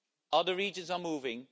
Other regions are moving